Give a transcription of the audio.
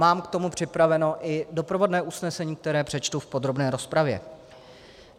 Mám k tomu připraveno i doprovodné usnesení, které přečtu v podrobné rozpravě.